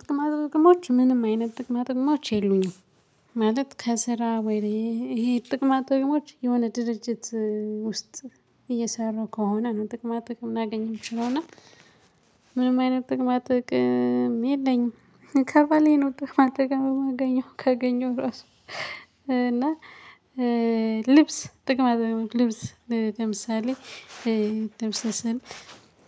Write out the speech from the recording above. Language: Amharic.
ጥቅማት ጥቅሞች ምንም አይነት ጥቅማት ጥቅሞች የሉኝም ማለት ከስራ ወይ ይሄ ጥቅማት ጥቅሞች የሆነ ድርጅት ውስጥ እየሰሩ ከሆነ ነው ጥቅማ ጥቅም እናገኝም ችለውና እና ምንም አይነት ጥቅም የለኝም ከባሌ ነው ጥቅም ጥቅም የማገኘው ከገኘው ራሱ። እና ልብስ ጥቅማ ጥቅም ልብስ ለምሳሌ ደምሰስን